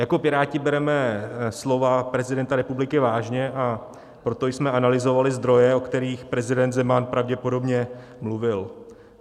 Jako Piráti bereme slova prezidenta republiky vážně a proto jsme analyzovali zdroje, o kterých prezident Zeman pravděpodobně mluvil.